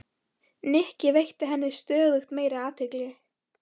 Nikki, veitti henni stöðugt meiri athygli.